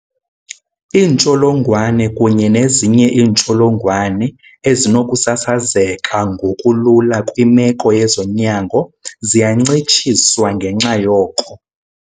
Iintsholongwane kunye nezinye iintsholongwane ezinokusasazeka ngokulula kwimeko yezonyango ziyancitshiswa ngenxa yoko.